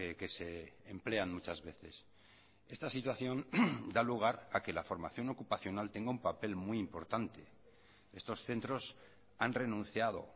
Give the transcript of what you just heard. que se emplean muchas veces esta situación da lugar a que la formación ocupacional tenga un papel muy importante estos centros han renunciado